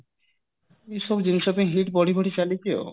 ଏଇ ସବୁ ଜିନିଷ ପାଇଁ heat ବଢି ବଢି ଚାଲିଛି ଆଉ